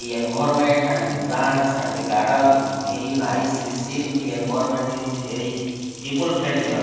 the environment and the plants and the garden is very nicely seen the environment is very people friendly al --